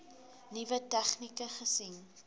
nuwe tegnieke gesien